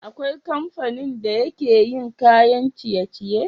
Akwai kamfanin da yake yin kayan ciye ciye?